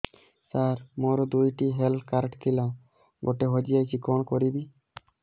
ସାର ମୋର ଦୁଇ ଟି ହେଲ୍ଥ କାର୍ଡ ଥିଲା ଗୋଟେ ହଜିଯାଇଛି କଣ କରିବି